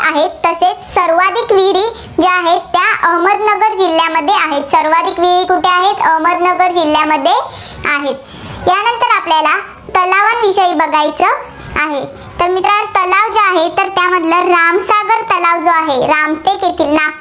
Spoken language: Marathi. जिल्हामध्ये आहेत. सर्वाधिक विहीर कुठे आहेत, अहमदनगर जिल्ह्यामध्ये आहेत. त्यानंतर आपल्याला तलावांविषयी बघायचे आहे. तर मित्रांनो तलाव जे आहेत, तर त्यामधलं रामसागर जो तलाव आहे, रामटेक येथील नागपूर